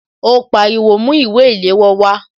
Ó pariwo "Mú ìwé ìléwọ́ wá"